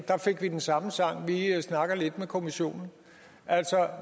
der fik vi den samme sang vi snakker lidt med kommissionen altså